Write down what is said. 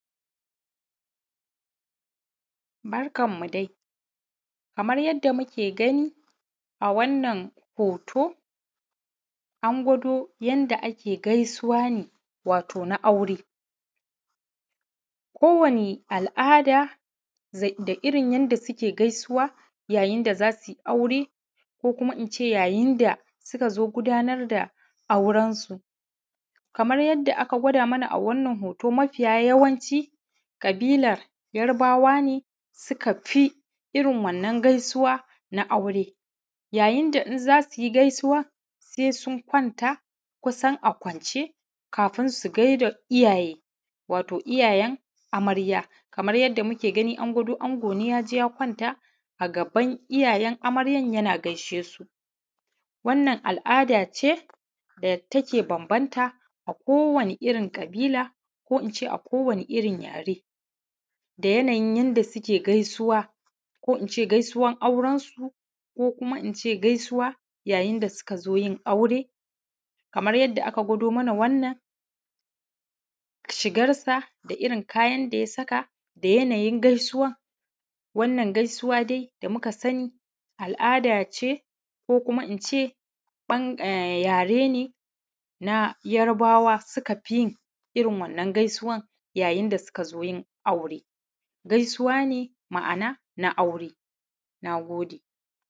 Barkanmu dai kamar yadda muke gani a wannan hoto an gwado mana yadda ake gaisuwa ne wani na aure. Kowanne al'ada da irin yadda suke gaisuwa yayin da za su yi aure, ko in ce yayin da suka zo gudanar da aurensu. Kamar yadda aka gwada mana a wannan hoto mafiya yawanci ƙabilar Yarbawa ne suka fi irin wannan gaisuwa na aure a yayin da in za su yi wannan gaisuwa sai sun kwanta kusan a kwance kafin su gaida iyayen amarya kamar yadda muke gani an gwado ango ne ya je ya kwanta a gaban iyayen amaryan yana gaishe su. Wannan al'ada ce da take bambanta a kowane ƙabila da a kowane irin yare. Irin yanayin yadda suke gaisuwa wurin neman aure su ko: kuma: ina ce su ka zo jin aure kamar yadda aka gwado: mana wannan shigarsa da irin kayan da ya saka da yanayin gaisuwa: wannan gaisuwa dai da muka sani al'ada ce ko in ce: yare na yara bawa suka fi jin irin wannan gaisuwa yayin da suka zo jin aure gaisuwa ne: ma'ana na aure na gode